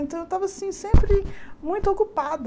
Então, eu estava assim sempre muito ocupada.